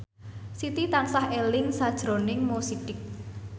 Siti tansah eling sakjroning Mo Sidik